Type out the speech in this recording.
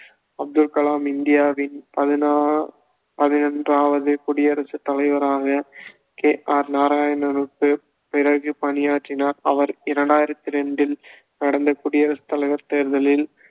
அப்துல் கலாம் இந்தியாவின் பதினொ~ பதினொன்றாவது குடியரசுத் தலைவராக கே ஆர் நாராயணனுக்குப் பி~ பிறகு பணியாற்றினார் அவர் இரண்டாயிரத்து ரெண்டில் நடந்த குடியரசுத்தலைவர் தேர்தலில்